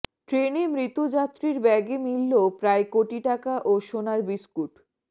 ট্রেনে মৃত যাত্রীর ব্যাগে মিলল প্রায় কোটি টাকা ও সোনার বিস্কুট